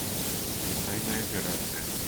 тайная операция